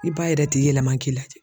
I b'a yɛrɛ tɛ yɛlɛma k'i la